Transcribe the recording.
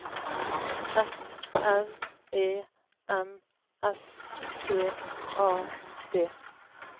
F R E M S T A D